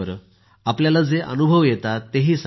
आपल्याला जे अनुभव येतात ते ही सांगा